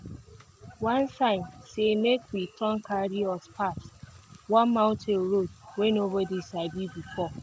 one sign say make we turn carry us pass one mountain road wey nobody sabi before.